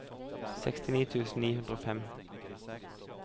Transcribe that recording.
sekstini tusen ni hundre og fem